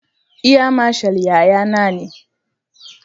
Air mashal yayana ne.